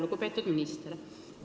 Lugupeetud minister!